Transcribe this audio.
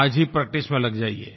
आज ही प्रैक्टिस में लग जाइए